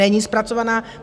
Není zpracovaná.